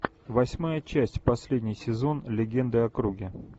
восьмая часть последний сезон легенды о круге